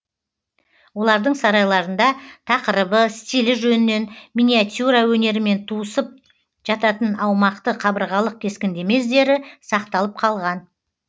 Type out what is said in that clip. олардың сарайларында тақырыбы стилі жөнінен миниатюра өнерімен туысып жататын аумақты қабырғалық кескіндеме іздері сақталып қалған